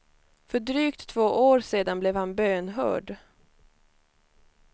För drygt två år sedan blev han bönhörd.